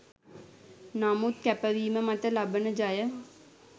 නමුත් කැපවීම මත ලබන ජය